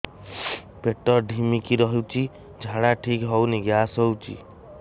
ପେଟ ଢିମିକି ରହୁଛି ଝାଡା ଠିକ୍ ହଉନି ଗ୍ୟାସ ହଉଚି